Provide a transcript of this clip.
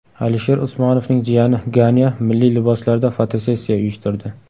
Alisher Usmonovning jiyani Ganya milliy liboslarda fotosessiya uyushtirdi .